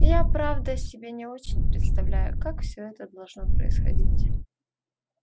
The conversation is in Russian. я правда себе не очень представляю как всё это должно происходить